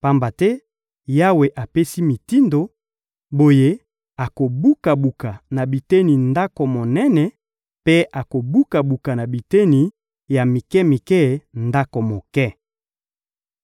Pamba te Yawe apesi mitindo, boye akobuka-buka na biteni ndako monene mpe akobuka-buka na biteni ya mike-mike ndako moke.